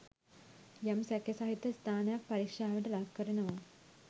යම් සැකසහිත ස්ථානයක් පරික්ෂාවට ලක් කරනවා.